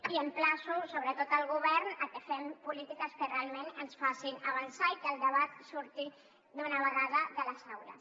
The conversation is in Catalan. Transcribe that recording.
i emplaço sobretot el govern a que fem polítiques que realment ens facin avançar i que el debat surti d’una vegada de les aules